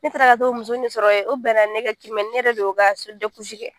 Ne taara ka taa o muso ni de sɔrɔ yen o bɛnna ne ka kiimɛni ne yɛrɛ de y'o ka kɛ